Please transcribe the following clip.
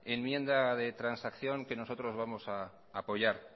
enmienda de transacción que nosotros vamos a apoyar